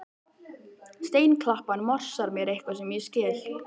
Steinklappan morsar mér eitthvað sem ég skil